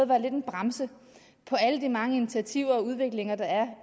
være lidt af en bremse for alle de mange initiativer og udviklinger der er